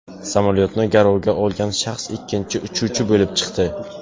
Samolyotni garovga olgan shaxs ikkinchi uchuvchi bo‘lib chiqdi.